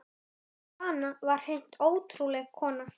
Svana var hreint ótrúleg kona.